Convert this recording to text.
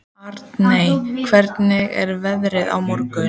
Aldey, hvernig er veðrið á morgun?